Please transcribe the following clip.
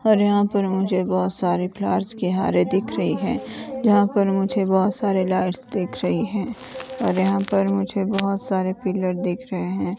अरे यहां पर मुझे बहोत सारे फ्लावर्स के हारे दिख रही हैं यहां पर मुझे बहोत सारे लाइट्स दिख रही हैं और यहां पर मुझे बहोत सारे पिलर दिख रहे हैं।